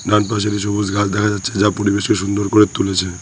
সবুজ ঘাস দেখা যাচ্ছে যা পরিবেশকে সুন্দর করে তুলেছে।